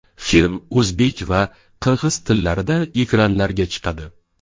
Film o‘zbek va qirg‘iz tillarida ekranlarga chiqadi.